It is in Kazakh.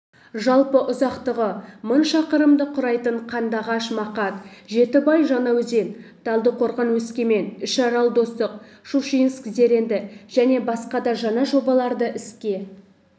жалпы ұзақтығы мың шақырымды құрайтын қандыағаш-мақат жетібай-жаңаөзен талдықорған-өскемен үшарал-достық щучинск-зеренді және басқада жаңа жобаларды іске